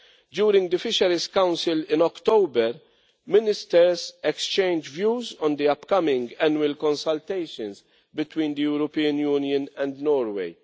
During the Fisheries Council in October, ministers exchanged views on the upcoming annual consultations between the European Union and Norway.